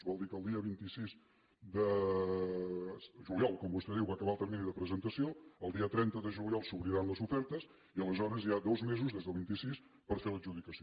vol dir que el dia vint sis de juliol com vostè diu va acabar el termini de presentació el dia trenta de juliol s’obriran les ofertes i aleshores hi ha dos mesos des del vint sis per fer l’adjudicació